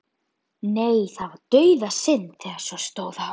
Nei, það var dauðasynd þegar svo stóð á.